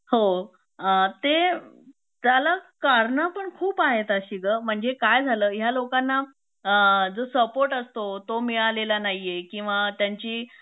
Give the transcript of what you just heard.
हो अ ते त्याला कारण पण खूप आहेत अशी ग म्हणजे काय झालं ह्या लोकांना जो सपोर्ट असतो तो मिळालेला नाहीए किंवा त्यांची